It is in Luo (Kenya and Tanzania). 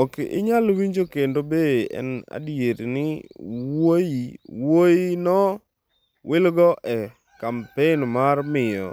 Ok inyal winjo kendo Be en adier ni wuoyi no wilgo e kampen mar miyo